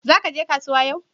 Zakaje kasuwa yau?